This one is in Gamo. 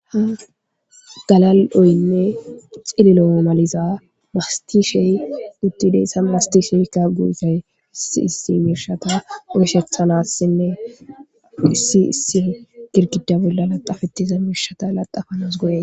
Galal'oynne cililo masatizza mastishey utideyssa issi issi misha oythanasinnasine issi issi girgida bola lacafetida misha laxafanas go'ees.